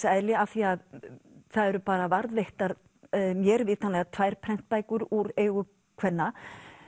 eðli af því að það eru bara varðveittar mér vitanlega tvær prentbækur úr eigu kvenna